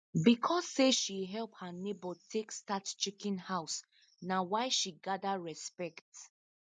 because say she help her neighbor take start chicken house na why she gather respect